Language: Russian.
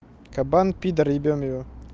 кабан пидор ебем его